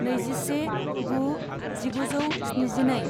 नैजिसे गु जिगुजौ स्निजिनै